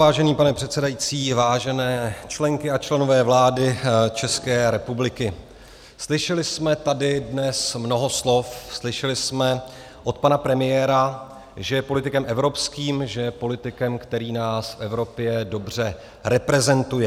Vážený pane předsedající, vážené členky a členové vlády České republiky, slyšeli jsme tady dnes mnoho slov, slyšeli jsme od pana premiéra, že je politikem evropským, že je politikem, který nás v Evropě dobře reprezentuje.